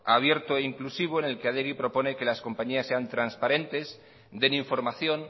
abierto e inclusivo en el que adegi propone que las compañías sean transparentes den información